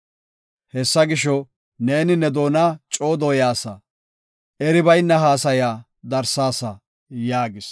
Hessa gisho, neeni ne doona coo dooyasa; eri bayna haasaya darsaasa” yaagis.